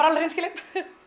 alveg hreinskilin